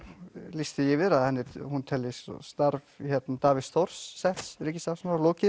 lýst því yfir að hún telji starf Davíðs Þórs ríkissaksóknara lokið